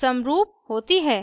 समरूप होती है